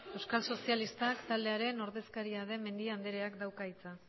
euskal sozialistak taldearen ordezkaria den mendia andreak dauka hitza